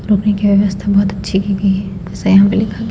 की व्यवस्था बहुत अच्छी की गई है जैसा यहां पे लिखा गया--